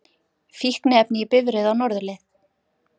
Fíkniefni í bifreið á norðurleið